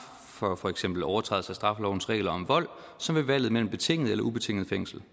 for for eksempel overtrædelse af straffelovens regler om vold som ved valget mellem betinget eller ubetinget fængsel